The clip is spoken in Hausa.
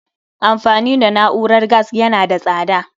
Amfani da na'urar gas yana da tsada